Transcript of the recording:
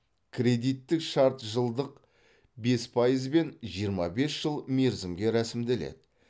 кредиттік шарт жылдық бес пайызбен жиырма бес жыл мерзімге ресімделеді